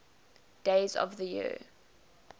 days of the year